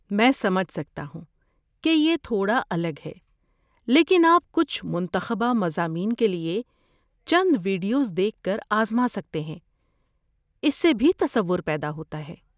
میں سمجھ سکتا ہوں کہ یہ تھوڑا الگ ہے، لیکن آپ کچھ منتخبہ مضامین کے لیے چند ویڈیوز دیکھ کر آزما سکتے ہیں، اس سے بھی تصور پیدا ہوتا ہے۔